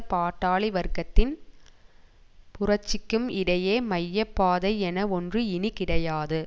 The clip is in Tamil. பாட்டாளி வர்க்கத்தின் புரட்சிக்கும் இடையே மைய பாதை என ஒன்று இனி கிடையாது